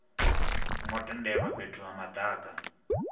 ngo tendelwa fhethu ha madaka